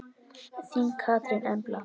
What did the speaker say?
Þín Katrín Embla.